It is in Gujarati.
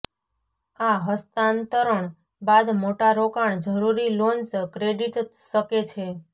આ હસ્તાંતરણ બાદ મોટા રોકાણ જરૂરી લોન્સ ક્રેડિટ શકે છે